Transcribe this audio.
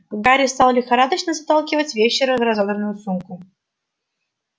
гарри стал лихорадочно заталкивать вещи в разодранную сумку